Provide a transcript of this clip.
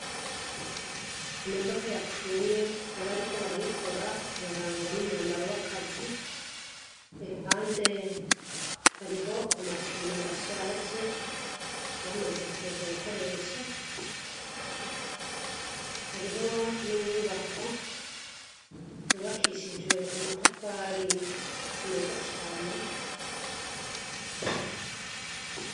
Imodoka yapfuye, abariko barayikora barangwa n'umwambaro w'akazi; iruhande hariho amapine ashaje, bamaze kureka gukoresha; hariho n'inyubako yubakishijwe amatafari meza cane.